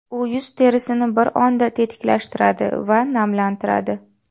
U yuz terisini bir onda tetiklashtiradi va namlantiradi.